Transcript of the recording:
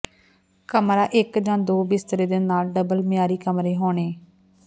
ਕਮਰੇ ਇੱਕ ਜ ਦੋ ਬਿਸਤਰੇ ਦੇ ਨਾਲ ਡਬਲ ਮਿਆਰੀ ਕਮਰੇ ਹੋਣੇ